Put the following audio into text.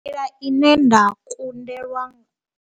Nḓila ine nda kundelwa.